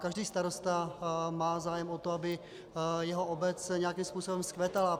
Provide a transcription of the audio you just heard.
Každý starosta má zájem o to, aby jeho obec nějakým způsobem vzkvétala.